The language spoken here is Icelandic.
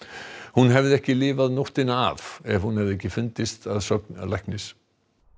hún hefði ekki lifað nóttina af ef hún hefði ekki fundist að sögn læknis